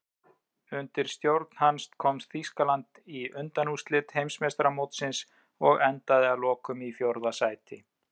Undir hans stjórn komst Þýskaland í undanúrslit Heimsmeistaramótsins og endaði að lokum í fjórða sæti.